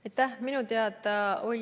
Aitäh!